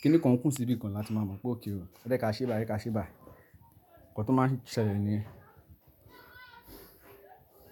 kíni kan kún sí ibìkan la ti máa mọ̀ pé ókay ọ, ẹjẹ ká ṣe báyi, ẹjẹ ká ṣe báyi, nǹkan tó máa ń ṣẹlẹ̀ niyen.